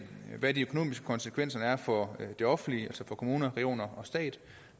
hvad de økonomiske konsekvenser er for det offentlige altså for kommuner regioner og stat